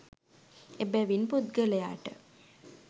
එබැවින් පුද්ගලයාට